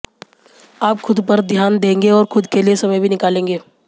आप खुद पर ध्यान देंगे और खुद के लिए समय भी निकालेंगे